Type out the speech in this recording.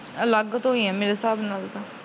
ਅਲੱਗ ਤੋਂ ਈ, ਮੇਰੇ ਸਾਬ ਨਾਲ।